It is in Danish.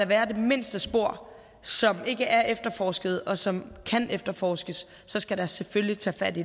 være det mindste spor som ikke er efterforsket og som kan efterforskes så skal der selvfølgelig tages fat i